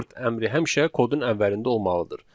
Import əmri həmişə kodun əvvəlində olmalıdır.